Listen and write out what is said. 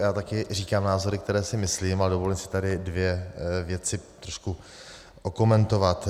Já taky říkám názory, které si myslím, a dovolím si tady dvě věci trošku okomentovat.